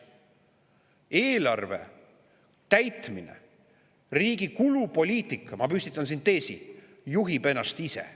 Eelarve täitmine, riigi kulupoliitika – ma püstitan siin teesi – juhib ennast ise.